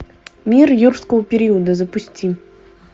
мир юрского периода запусти